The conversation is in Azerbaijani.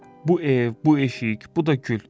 Bu ev, bu eşik, bu da gül.